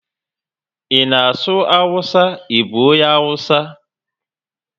I na asụ awụsa, I bụ onye awụsa?